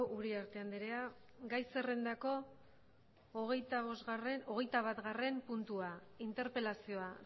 uriarte anderea gai zerrendako hogeita batgarrena puntua interpelazioa